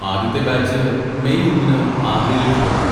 ആദ്യത്തെ batch May ഒന്നിന് ആഗ്രയിലേക്ക് പുറപ്പെടും.